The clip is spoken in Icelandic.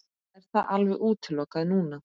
Er það alveg útilokað núna?